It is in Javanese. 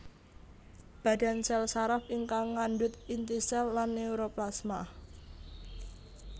Badan sèl saraf ingkang ngandhut inti sèl lan neuroplasma